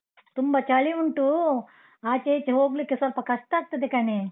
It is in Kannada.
ತುಂಬ ಚಳಿ ಉಂಟು, ಆಚೆ ಈಚೆ ಹೋಗ್ಲಿಕ್ಕೆ ಸ್ವಲ್ಪ ಕಷ್ಟ ಆಗ್ತದೆ ಕಣೆ.